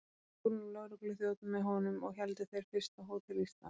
Fór nú lögregluþjónn með honum, og héldu þeir fyrst að Hótel Ísland.